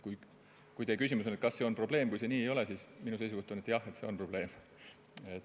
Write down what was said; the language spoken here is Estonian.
Kui teie küsimus on, kas see on probleem, kui see nii ei ole, siis minu seisukoht on, et jah, see on probleem.